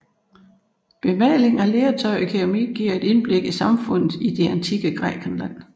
Bemaling af lertøj og keramik giver et indblik i samfundet i det antikke Grækenland